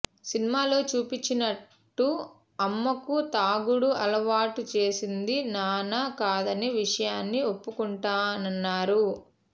సినిమాలో చూపించినట్టు అమ్మకు తాగుడు అలవాటు చేసింది నాన్న కాదన్న విషయాన్ని ఒప్పుకుంటానన్నారు